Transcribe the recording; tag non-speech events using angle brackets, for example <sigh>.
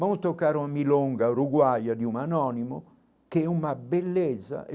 Vamos tocar um, <unintelligible> uruguaia de um anônimo, que é uma beleza.